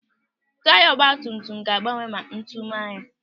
Taya ọgbatumtum ga-agbawa ma ntu maa ya.